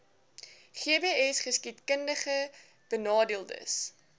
gbsgeskiedkundigbenadeeldes